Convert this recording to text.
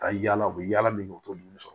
Ka yala u bɛ yala min u t'olu sɔrɔ